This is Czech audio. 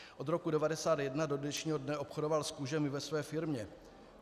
Od roku 1991 do dnešního dne obchodoval s kůžemi ve své firmě.